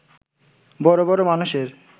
বড় বড় মানুষের